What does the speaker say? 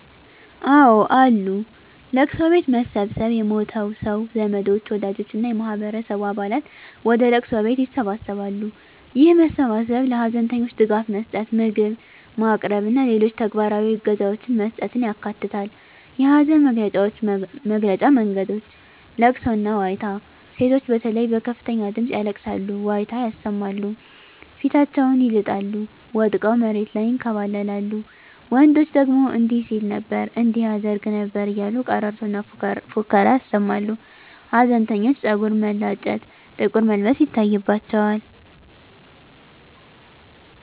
አወ አሉ፦ ለቅሶ ቤት መሰብሰብ የሞተው ሰው ዘመዶች፣ ወዳጆች እና የማህበረሰቡ አባላት ወደ ለቅሶ ቤት ይሰበሰባሉ። ይህ መሰባሰብ ለሀዘንተኞች ድጋፍ መስጠት፣ ምግብ ማቅረብ እና ሌሎች ተግባራዊ እገዛዎችን መስጠትን ያካትታል። የሀዘን መግለጫ መንገዶች * ለቅሶና ዋይታ: ሴቶች በተለይ በከፍተኛ ድምጽ ያለቅሳሉ፣ ዋይታ ያሰማሉ፣ ፊታቸውን ይልጣሉ፣ ወድቀው መሬት ላይ ይንከባለላሉ፤ ወንዶች ደግሞ እንዲህ ሲል ነበር እንዲህ ያደርግ ነበር እያሉ ቀረርቶና ፉከራ ያሰማሉ። ሀዘንተኞች ፀጉር መላጨት፣ ጥቁር መልበስ ይታይባቸዋል።